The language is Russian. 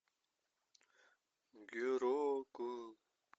геракл